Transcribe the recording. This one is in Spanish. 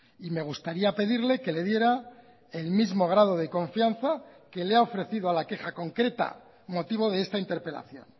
y me gustaría pedirle que le diera el mismo grado de confianza que le ha ofrecido a la queja concreta motivo de esta interpelación